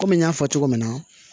Kɔmi n y'a fɔ cogo min na